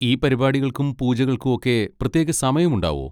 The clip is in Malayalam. ഈ പരിപാടികൾക്കും പൂജകൾക്കും ഒക്കെ പ്രത്യേക സമയം ഉണ്ടാവോ?